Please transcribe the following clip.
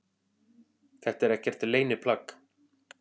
Þetta er ekkert leyniplagg